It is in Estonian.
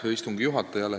Hea istungi juhataja!